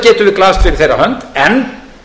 glaðst fyrir þeirra hönd en